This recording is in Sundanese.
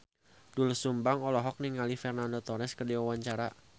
Doel Sumbang olohok ningali Fernando Torres keur diwawancara